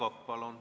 Aivar Kokk, palun!